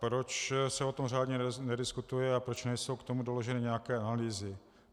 Proč se o tom řádně nediskutuje a proč nejsou k tomu doloženy nějaké analýzy?